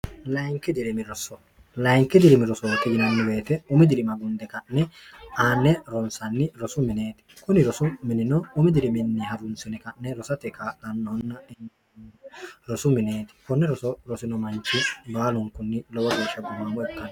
layinki dirimi rosoo ki yinanni beete umi dirima gunde ka'ne aanne ronsanni rosu mineeti kuni rosu minino umi diriminni harunsine ka'ne rosate kaadannoonna rosu mineeti konne roso rosino manchi baalunkunni lowo geeshsha bbummammo ikkano